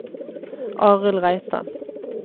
Arild Reitan